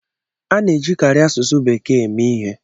A na-ejikarị asụsụ bekee eme ihe.